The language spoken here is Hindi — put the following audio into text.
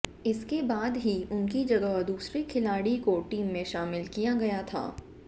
इसके बाद ही उनकी जगह दूसरे खिलाड़ी को टीम में शामिल किया गया था